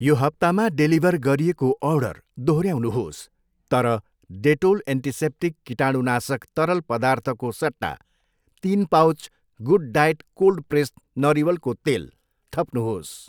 यो हप्तामा डेलिभर गरिएको अर्डर दोहोऱ्याउनुहोस् तर डेटोल एन्टिसेप्टिक कीटाणुनाशक तरल पदार्थको सट्टा तिन पाउच गुडडायट कोल्ड प्रेस्ड नरिवलको तेल थप्नुहोस्।